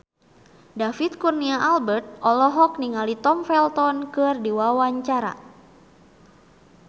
David Kurnia Albert olohok ningali Tom Felton keur diwawancara